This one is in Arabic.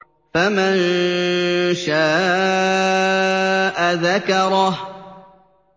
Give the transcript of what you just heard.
فَمَن شَاءَ ذَكَرَهُ